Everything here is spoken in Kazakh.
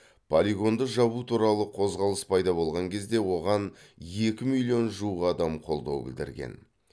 полигонды жабу туралы қозғалыс пайда болған кезде оған екі миллион жуық адам қолдау білдірген